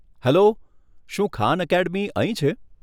Hello, શું Khan academy અહીં છે?